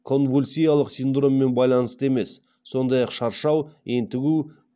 конвульсиялық синдроммен байланысты емес сондай ақ шаршау ентігу